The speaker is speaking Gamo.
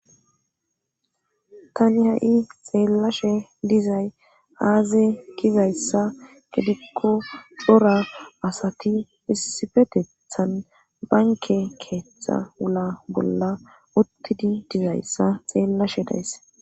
Tani ha'i xeellashe dizay aaze kizayssa gidikko dora asati issifetethan banke keeththa wula bolla uttidi dizayssa xeellashe days.